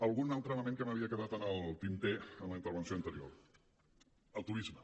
algun altre element que m’havia quedat en el tinter en la intervenció anterior el turisme